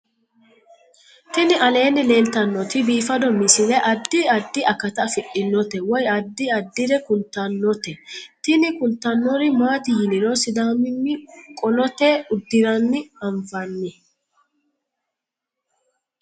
Tini aleenni leetannoti biifado misile adi addi akata afidhinote woy addi addire kultannote tini kultannori maati yiniro sidaamimi qolote uddiranni anfanni